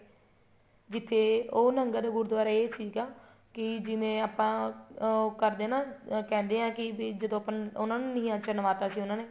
ਵਿੱਚ ਏ ਉਹ ਨਹਿੰਗਾਂ ਦਾ ਗੁਰੂਦਆਰਾ ਇਹ ਸੀਗਾ ਕੀ ਜਿਵੇਂ ਆਪਾਂ ਉਹ ਕਰਦੇ ਆ ਨਾ ਕਹਿੰਦੇ ਆ ਕੀ ਵੀ ਜਦੋਂ ਆਪਾਂ ਉਹਨਾ ਨੂੰ ਨੀਹਾਂ ਚ ਚੁਣਵਾ ਤਾਂ ਸੀ ਉਹਨਾ ਨੇ